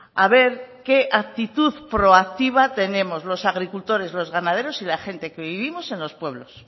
a ver qué actitud proactiva tenemos los agricultores los ganaderos y la gente que vivimos en los pueblos